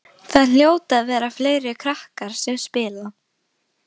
Það hljóta að vera fleiri krakkar sem spila.